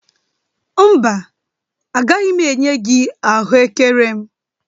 Mba, agaghị m enye gị ahụekere m